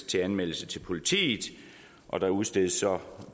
til anmeldelse til politiet og der udstedes så